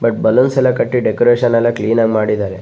But balloons ಎಲ್ಲ ಕಟ್ಟಿ decoration ಎಲ್ಲ ಕ್ಲಿನ್ ಆಗಿ ಮಾಡಿದಾರೆ.